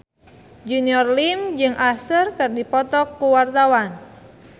Junior Liem jeung Usher keur dipoto ku wartawan